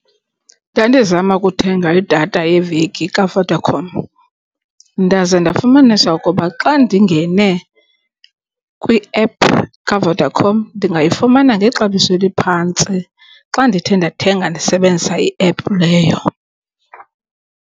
Ndandizama ukuthenga idatha yeveki kaVodacom. Ndaze ndafumanisa ukuba xa ndingene kwiephu kaVodacom ndingayifumana ngexabiso eliphantsi xa ndithe ndathenga ndisebenzisa iephu leyo.